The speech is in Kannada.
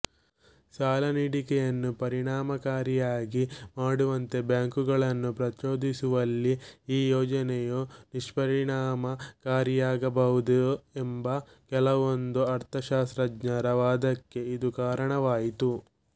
ಸಾಲನೀಡಿಕೆಯನ್ನು ಪರಿಣಾಮಕಾರಿಯಾಗಿ ಮಾಡುವಂತೆ ಬ್ಯಾಂಕುಗಳನ್ನು ಪ್ರಚೋದಿಸುವಲ್ಲಿ ಈ ಯೋಜನೆಯು ನಿಷ್ಪರಿಣಾಮಕಾರಿಯಾಗಬಹುದು ಎಂಬ ಕೆಲವೊಂದು ಅರ್ಥಶಾಸ್ತ್ರಜ್ಞರ ವಾದಕ್ಕೆ ಇದು ಕಾರಣವಾಯಿತು